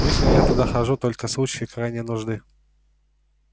лично я туда захожу только в случае крайней нужды